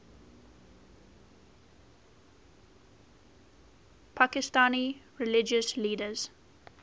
pakistani religious leaders